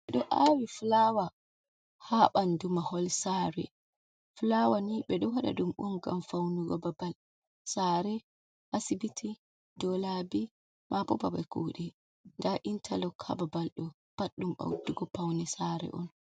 Ɓeɗo awi fulawa ha ɓandu mahol sare. fulawa ni ɓeɗo waɗa ɗum on ngam faunugo babal sare, asibiti, do labi maɓo babal kuɗe. nda intalok hababalɗo pat ɗum ɓeɗɗugo paune sare on.